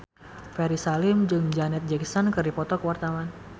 Ferry Salim jeung Janet Jackson keur dipoto ku wartawan